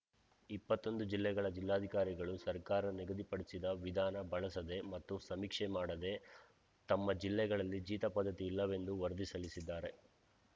ಇಪ್ಪತ್ತೊಂದು ಜಿಲ್ಲೆಗಳ ಜಿಲ್ಲಾಧಿಕಾರಿಗಳು ಸರ್ಕಾರ ನಿಗದಿಪಡಿಸಿದ ವಿಧಾನ ಬಳಸದೆ ಮತ್ತು ಸಮೀಕ್ಷೆ ಮಾಡದೆ ತಮ್ಮ ಜಿಲ್ಲೆಗಳಲ್ಲಿ ಜೀತ ಪದ್ಧತಿ ಇಲ್ಲವೆಂದು ವರದಿ ಸಲ್ಲಿಸಿದ್ದಾರೆ